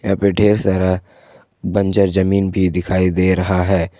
यहां पे ढेर सारा बंजर जमीन भी दिखाई दे रहा है।